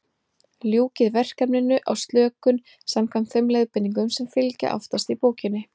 Ljúkið verkefninu á slökun, samkvæmt þeim leiðbeiningum sem fylgja aftast í bókinni.